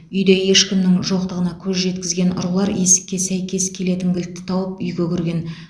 үйде ешкімнің жоқтығына көз жеткізген ұрылар есікке сәйкес келетін кілтті тауып үйге кірген